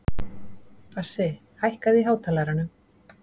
Bassi, hækkaðu í hátalaranum.